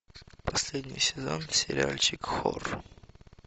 последний сезон сериальчик хор